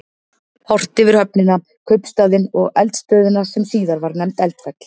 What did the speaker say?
Horft yfir höfnina, kaupstaðinn og eldstöðina sem síðar var nefnd Eldfell.